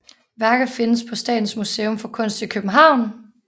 Værket findes på Statens Museum for Kunst i København